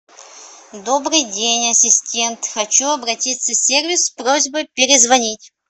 добрый день ассистент хочу обратиться в сервис с просьбой перезвонить